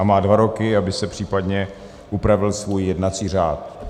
A má dva roky, aby si případně upravil svůj jednací řád.